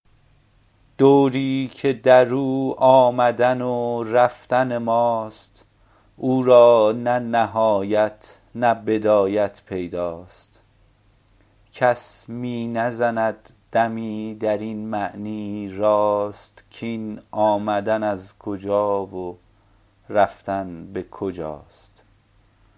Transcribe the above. دوری که در او آمدن و رفتن ماست او را نه نهایت نه بدایت پیداست کس می نزند دمی در این معنی راست کاین آمدن از کجا و رفتن به کجاست